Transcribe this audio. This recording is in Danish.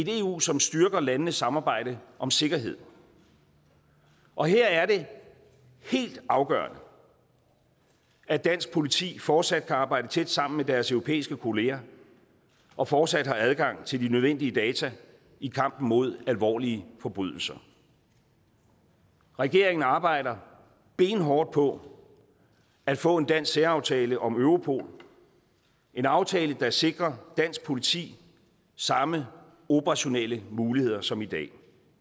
eu som styrker landenes samarbejde om sikkerhed og her er det helt afgørende at dansk politi fortsat kan arbejde tæt sammen med deres europæiske kolleger og fortsat har adgang til de nødvendige data i kampen mod alvorlige forbrydelser regeringen arbejder benhårdt på at få en dansk særaftale om europol en aftale der sikrer dansk politi samme operationelle muligheder som i dag